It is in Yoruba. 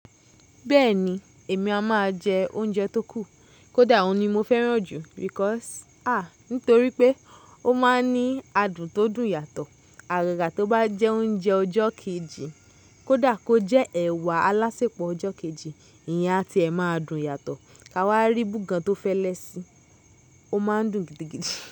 Bẹ́ẹ̀ni, èmi a máa jẹ oúnjẹ tó kù. Kódà òun ni mo fẹ́ràn jù because, ah nítorí pé ó máa ń ní adùn tó dùn yàtọ̀. Àgagá tó bá jẹ oúnjẹ ọjọ́ kejì, kó dà kó jẹ ẹ̀wà alásèpọ̀ ọjọ́ kejì, ìyen a tí ẹ máa dùn yàtọ̀ ká wá rí búgan tó fẹ́lẹ́ sí, ó máa ń dùn gidigidi.